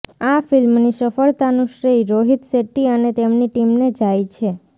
આ ફિલ્મની સફળતાનું શ્રેય રોહિત શેટ્ટી અને તેમની ટીમને જાય છે